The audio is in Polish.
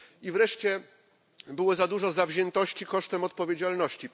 I wreszcie było za dużo zawziętości kosztem odpowiedzialności.